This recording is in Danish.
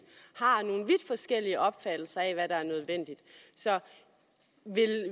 forskellige opfattelser af hvad der er nødvendigt så